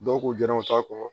Dɔw ko jɛnɛw t'a kɔ